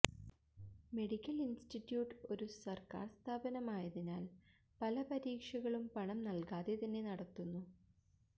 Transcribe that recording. medical institute ഒരു സർക്കാർ സ്ഥാപനം ആയതിനാൽ പല പരീക്ഷകളും പണം നൽകാതെ തന്നെ നടത്തുന്നു